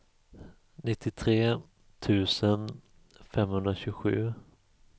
nittiotre tusen femhundratjugosju